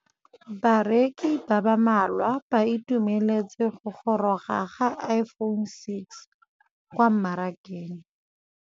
Bareki ba ba malwa ba ituemeletse go gôrôga ga Iphone6 kwa mmarakeng.